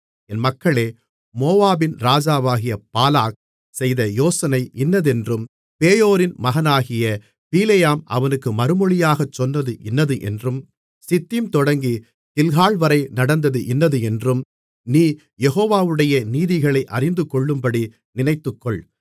என் மக்களே மோவாபின் ராஜாவாகிய பாலாக் செய்த யோசனை இன்னதென்றும் பேயோரின் மகனாகிய பிலேயாம் அவனுக்கு மறுமொழியாகச் சொன்னது இன்னதென்றும் சித்தீம் தொடங்கி கில்கால்வரை நடந்தது இன்னதென்றும் நீ யெகோவாவுடைய நீதிகளை அறிந்துகொள்ளும்படி நினைத்துக்கொள்